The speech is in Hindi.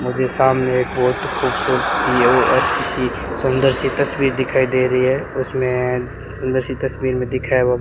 मुझे सामने एक बहोत खूबसूरत वो अच्छी सी सुंदर सी दिखाई दे रही है उसमें सुंदर सी तस्वीर मे दिखा है वो --